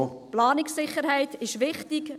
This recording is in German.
Planungssicherheit ist wichtig.